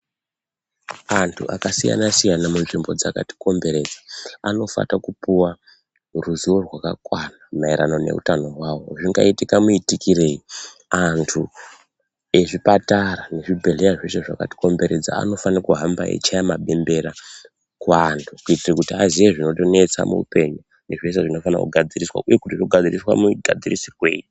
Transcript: Antu akasiyana-siyana munzvimbo dzakatikomberedza, anofana kupuwa ruziwo rwakakwana, maererano neutano hwawo. Zvingaitike muitikirei? Anthu ezvipatara nezvibhedhlera zveshe zvakatikomberedza, anofana kuhamba eichaya mabembera kuanthu, kuitira kuti aziye zvinotinesa muupenyu nezvese zvinofane kugadzirisa, uye kuti zvoita mugadzirisirwei?